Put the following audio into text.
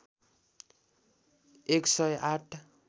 १ सय ८